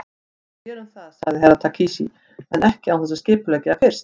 Við gerum það, sagði Herra Takashi, en ekki án þess að skipuleggja það fyrst.